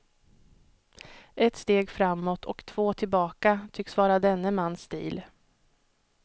Ett steg framåt och två tillbaka tycks vara denne mans stil.